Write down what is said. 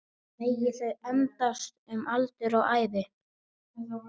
Megi þau endast um aldur og ævi